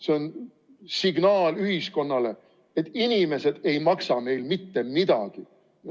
See on signaal ühiskonnale, et inimesed ei maksa meil mitte midagi.